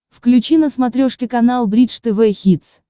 включи на смотрешке канал бридж тв хитс